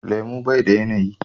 Lemu bai da yanayi.